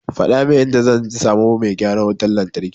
Faɗa min inda zan samu mai gyaran wutar lantarkin.